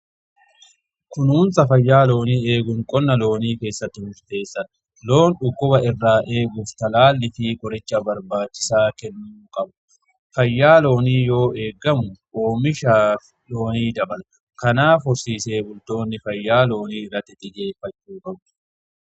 kunuunsa fayyaa loonii eeguun qonna loonii keessatti murteessaadha. loon dhukkuba irraa eeguuf talaallii fi qoricha barbaachisaa kennuu qabna. fayyaa loonii yoo eeggamu oomisha loonii dabala kanaaf horsiisee bultoonni fayyaa loonii irratti xiyyeeffachuu qabu.